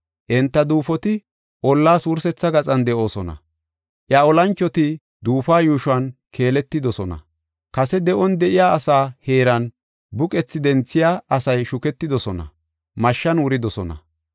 Enta duufoti ollas wursetha gaxan de7oosona. Iya olanchoti duufuwa yuushon keeletidosona; kase de7on de7iya asa heeran buqethi denthiya asay shuketidosona; mashshan wuridosona.